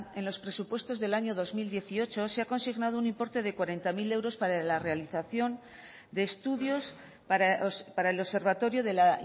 en los presupuestos del año dos mil dieciocho se ha consignado un importe de cuarenta mil euros para la realización de estudios para el observatorio de la